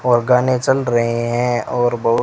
और गाने चल रहे हैं और बहु--